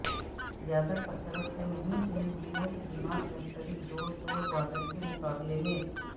زیادہ کثرت سے نہیں ان دنوں کے دماغ مختلف جوڑ توڑ بادل کے مقابلے میں